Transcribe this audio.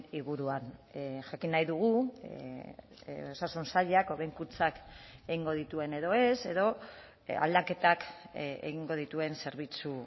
inguruan jakin nahi dugu osasun sailak hobekuntzak egingo dituen edo ez edo aldaketak egingo dituen zerbitzu